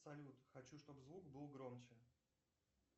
салют хочу чтобы звук был громче